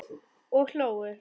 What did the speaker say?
Og hlógu.